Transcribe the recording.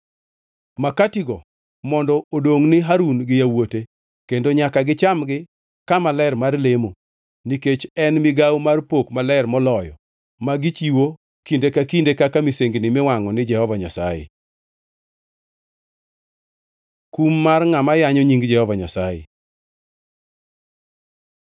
Makatigo mondo odongʼ ni Harun gi yawuote, kendo nyaka gichamgi kama ler mar lemo, nikech en migawo mar pok maler moloyo ma gichiwo kinde ka kinde kaka misengini miwangʼo ni Jehova Nyasaye.” Kum mar ngʼama yanyo nying Jehova Nyasaye